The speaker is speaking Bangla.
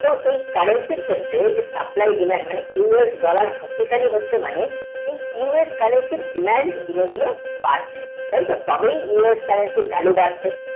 তো এই country ক্ষেত্রে এই যে supply dinner মানে us dollar শক্তিশালী হচ্ছে মানে এই us currency এর demand দিনে দিনে বাড়ছে তাই তো তবেই us connection এর value বাড়ছে